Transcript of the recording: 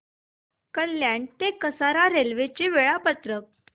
कल्याण ते कसारा रेल्वे चे वेळापत्रक